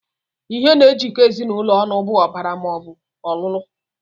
Ihe na-ejikọta ezinụlọ ọnụ bụ ọbara maọbụ ọlụlụ